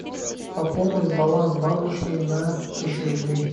пополнить баланс бабушки на тысячу рублей